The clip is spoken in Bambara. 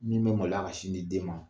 Min bɛ malo ka sin di den ma